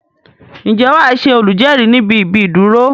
Ǹjẹ́ wàá Ṣe olùjérìí níbi íbi ìdúró